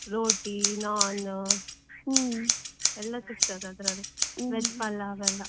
Roti, naan ಸಿಕ್ತದೆ ಅದ್ರಲ್ಲಿ veg palav ಎಲ್ಲಾ.